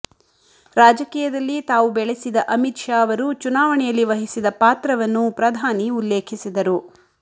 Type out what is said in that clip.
ರಾಜಕೀಯದಲ್ಲಿ ತಾವು ಬೆಳೆಸಿದ ಅಮಿತ್ ಷಾ ಅವರು ಚುನಾವಣೆಯಲ್ಲಿ ವಹಿಸಿದ ಪಾತ್ರವನ್ನೂ ಪ್ರಧಾನಿ ಉಲ್ಲೇಖಿಸಿದರು